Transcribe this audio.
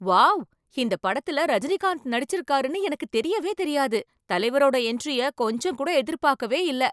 Wow! இந்தப் படத்துல ரஜினிகாந்த் நடிச்சிருக்காருனு எனக்கு தெரியவே தெரியாது. தலைவரோட என்ட்ரிய கொஞ்சம் கூட எதிர்பாக்கவே இல்லை.